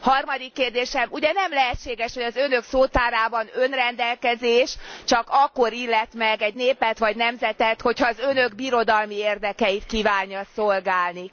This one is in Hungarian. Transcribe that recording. Harmadik kérdésem ugye nem lehetséges, hogy az Önök szótárában önrendelkezés csak akkor illet meg egy népet vagy nemzetet, ha az Önök birodalmi érdekeit kívánja szolgálni?